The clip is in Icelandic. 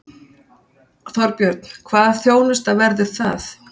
Þorbjörn: Hvaða þjónusta verður það?